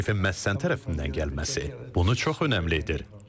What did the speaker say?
Təklifin məhz sənin tərəfindən gəlməsi bunu çox önəmli edir.